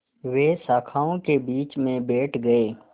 वे शाखाओं के बीच में बैठ गए